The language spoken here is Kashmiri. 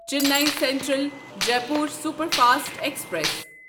Chennai central Jaipur superfast express